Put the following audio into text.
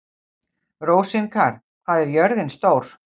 Rósinkar, hvað er jörðin stór?